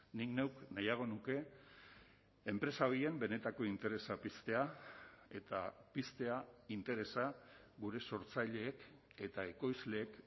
nik neuk nahiago nuke enpresa horien benetako interesa piztea eta piztea interesa gure sortzaileek eta ekoizleek